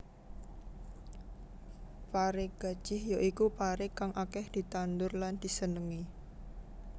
Paré gajih ya iku paré kang akèh ditandhur lan disenéngi